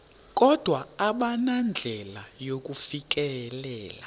kodwa abanandlela yakufikelela